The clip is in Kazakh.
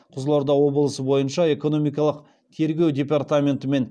қызылорда облысы бойынша экономикалық тергеу департаментімен